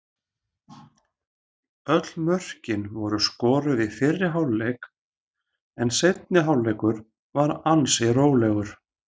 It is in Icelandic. Öll mörkin voru skoruð í fyrri hálfleik en seinni hálfleikurinn var ansi rólegur.